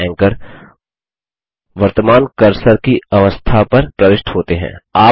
note के लिए anchor वर्तमान कर्सर की अवस्था पर प्रविष्ट होते हैं